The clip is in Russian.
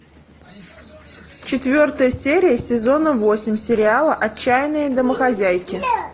четвертая серия сезона восемь сериала отчаянные домохозяйки